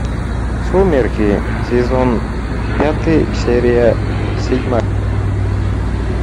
сумерки сезон пятый серия седьмая